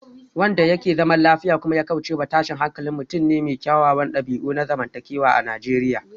Wanda yake zaman lafiya kuma ya kaucewa tashin hankali mutum ne mai kyawawan dabi'u na zamantakewa a Najeriya